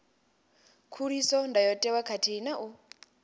khuliso ndayotewa khathihi na u